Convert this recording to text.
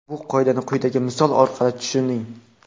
Bu qoidani quyidagi misol orqali tushuning.